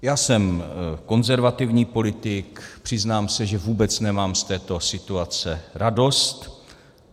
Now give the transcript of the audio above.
Já jsem konzervativní politik, přiznám se, že vůbec nemám z této situace radost.